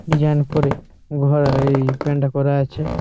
Resign করে ঘরহই পেন্টা প্ল্যান -টা করা আছে।